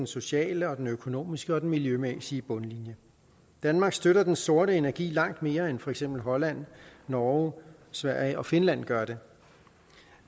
sociale økonomiske og miljømæssige bundlinjer danmark støtter den sorte energi langt mere end for eksempel holland norge sverige og finland gør det